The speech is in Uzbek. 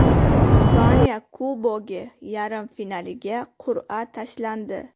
Ispaniya Kubogi yarim finaliga qur’a tashlandi.